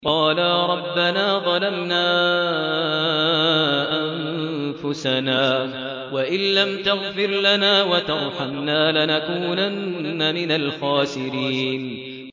قَالَا رَبَّنَا ظَلَمْنَا أَنفُسَنَا وَإِن لَّمْ تَغْفِرْ لَنَا وَتَرْحَمْنَا لَنَكُونَنَّ مِنَ الْخَاسِرِينَ